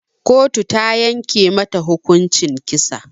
Kotu ta yanke mata hukuncin kisa